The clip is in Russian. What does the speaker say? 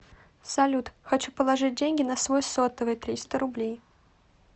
салют хочу положить деньги на свой сотовый триста рублей